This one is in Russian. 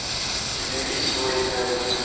у тебя есть свой ребенок